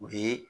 U bi